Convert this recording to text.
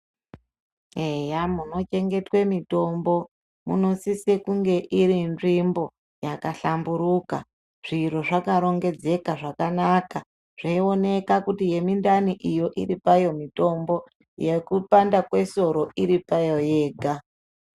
Eya muchengetwa mutombo musisa kunge iri nzvimbo yakahlamburika zviro zvakarongedzeka zvakanaka zveionekwa kuti yemuadani iyo iri mayo yekupanda kwesoro iripayo.